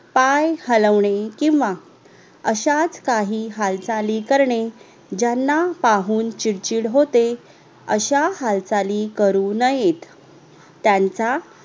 पाय हलवणे किव्हा अश्याच काही हालचाली करणे ज्यांना पाहून चिडचिड होते अश्या हालचाली करू नयेत त्यांचा